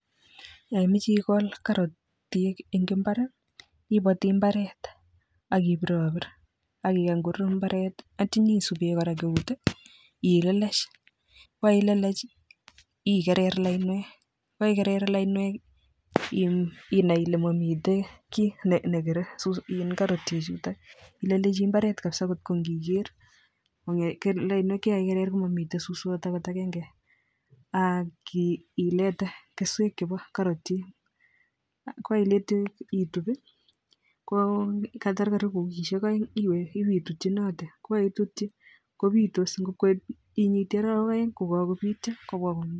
Ya imeche ikool karatiek ing'imbar ibati mbaret akibirabir akigany korur mbaret atya nyisube kora eut ilelesh , koilelech igerer lainwek, koigerer lainwek inai ile mamite ki negere karotiek chuutok ilelechi kapsa kotko ngigeer lainwek chekaigerer mamite suswot angot agenge aki ilete keswek chebo karotiek , koilite itub ko katar karibu wikisiek aeng' iwe ibitutchinate, kokaitutchi kobiitos makwekwe inyitii arawek aeng' kokakobiityo